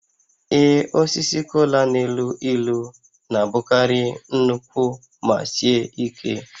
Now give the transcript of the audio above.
Ee, osisi kola na-elu ilu na-abụkarị nnukwu ma sie ike